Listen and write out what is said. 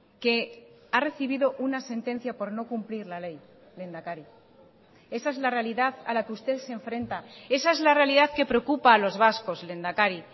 que ha recibido una sentencia por no cumplir la ley lehendakari esa es la realidad a la que usted se enfrenta esa es la realidad que preocupa a los vascos lehendakari